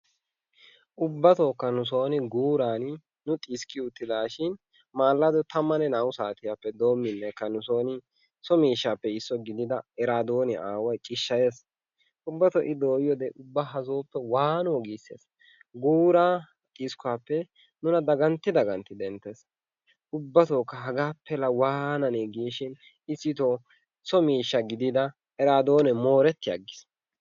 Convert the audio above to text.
Ubbatookka nu sooni guuran nu xiskkiyottidaashin maallado 12u saatiyappe doomminnekka nu sooni so miishshaappe issuwa gidida eraadooniya aaway cishshayees. Ubbatoo I dooyiyode ubba ha sooppe waanoo giissees. Guuraa xiskkuwappe nuna dagantti dagantti denttees. Ubbatookka hagaappe laa waananee giishin issitoo so miishsha gidida eraadoonee mooretti aggiis.